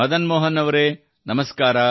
ಮದನ್ ಮೋಹನ್ ಅವರೆ ನಮಸ್ಕಾರ